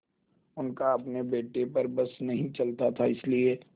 उनका अपने बेटे पर बस नहीं चलता था इसीलिए